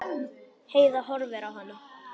Heiða horfði á hana.